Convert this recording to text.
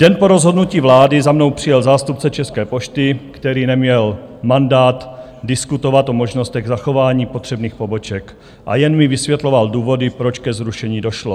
Den po rozhodnutí vlády za mnou přijel zástupce České pošty, který neměl mandát diskutovat o možnostech zachování potřebných poboček a jen mi vysvětloval důvody, proč ke zrušení došlo.